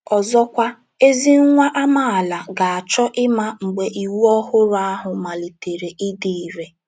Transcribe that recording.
Ọzọkwa, ezi nwa amaala ga - achọ ịma mgbe iwu ọhụrụ ahụ malitere ịdị irè.